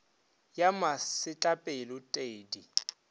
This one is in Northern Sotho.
ya masetlapelo t e di